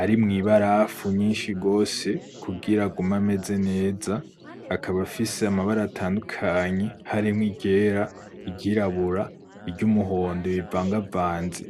arimwo ibarafu nyinshi gose kugira agume ameze neza, akaba afise amabara atandukanye harimwo iryera, iry'irabura, iry'umuhondo bivangavanze.